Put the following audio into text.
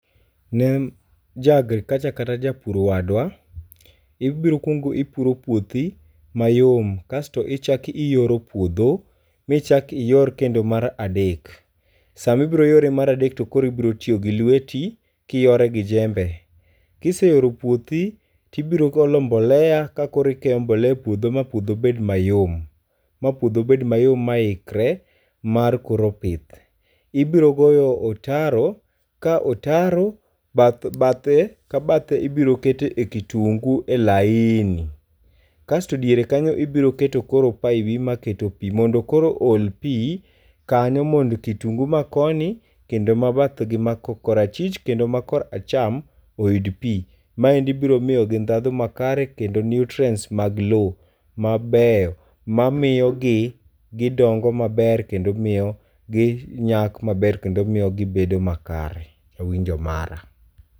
Ne ja agriculture kata japur wadwa, ibiro kuongo ipuro puothi mayom. Kasto ichako iyoro puodho, michak iyor kendo mar adek. Sama ibiro yore mar adek, to koro ibiro tiyo gi lweti kiyore gi jembe, Kiseyoro puothi, tibiro olo mbolea ka koro ikeyo mbolea[c]s e puodho ma puodho bed mayom. Ma puodho bed mayom ma ikre mar koro pith. Ibiro goyo otaro, ka otaro bathe ka bathe ibiro kete kitungu e laini. Kasto diere kanyo ibiro keto paibi ma keto pi, mondo koro o ol pi kanyo mondo kitungu ma koni kendo ma bath gi ma kor achich kendo ma kor acham oyud pi. Maendi biro miyo gi ndhathu ma kare kendo nutrients mag low mabeyo mamiyo gi gidongo maber kendo miyo gi nyak maber, kendo miyo gibedo ma kare. E winjo mara.